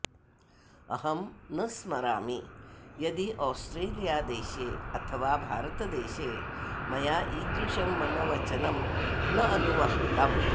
अहं न स्मरामि यदि औस्ट्रेलियादेशे अथवा भारतदेशे मया ईदृशं मम वचनं न अनुवक्तम्